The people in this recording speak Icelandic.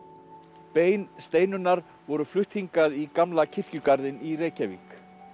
bein Steinunnar voru flutt hingað í gamla kirkjugarðinn í Reykjavík